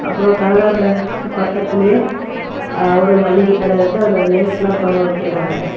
அப்ரோ கனரா பேங்க்கு பக்கத்திலயே ஒரு மளிகை கட இருக்கு அதுல லேஸ்லா தொங்கவிட்டிருக்காங்க.